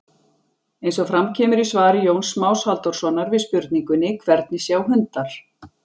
Eins og fram kemur í svari Jóns Más Halldórssonar við spurningunni Hvernig sjá hundar?